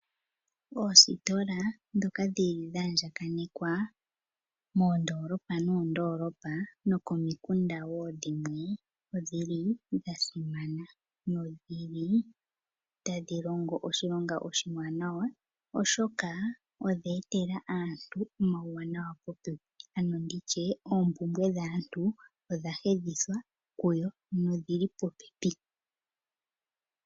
Oositola ndhoka dhili dha andjakanekwa moondolopa noondolopa nokomikunda dhimwe odhili dha simana nodhi li tadhi longo oshilonga oshiwanawa oshoka odhe etela aantu omauwanawa popepi nditye oompumbwe dhaantu odha hedhithwa kuyo kuyo nodhili popepi